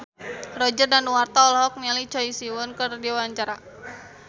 Roger Danuarta olohok ningali Choi Siwon keur diwawancara